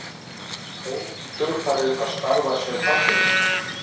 Hóf í kjölfarið að starfa sem fasteignasali.